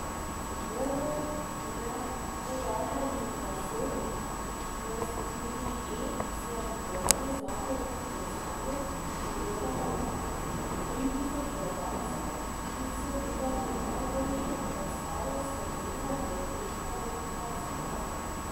Dvoboj neporaženih zasedb v skupini E si je v dvorani Zlatorog v Celju ogledalo tritisoč gledalcev, ki so videli najboljšo predstavo Slovenije v teh kvalifikacijah.